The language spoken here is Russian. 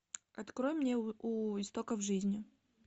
открой мне у истоков жизни